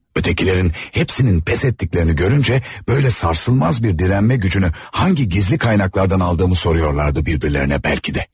Ötekilerin hepsinin pes etdiklərini görüncə böylə sarsılmaz bir dirənmə gücünü hangi gizli kaynaklardan aldığımı soruyorlardı bir-birlərinə bəlkə də.